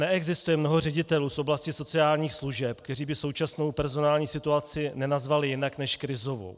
Neexistuje mnoho ředitelů z oblasti sociálních služeb, kteří by současnou personální situaci nenazvali jinak než krizovou.